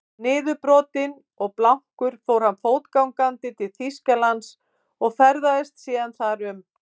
Niðurbrotinn og blankur fór hann fótgangandi til Þýskalands og ferðaðist síðan þar um.